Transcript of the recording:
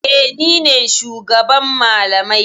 E, ni ne shugaban malamai.